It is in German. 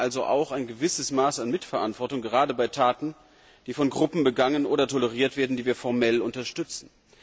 Wir tragen also auch ein gewisses Maß an Mitverantwortung, gerade bei Taten, die von Gruppen begangen oder toleriert werden, die wir formell unterstützen.